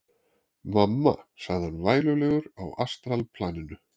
Mamma, sagði hann vælulegur á astralplaninu.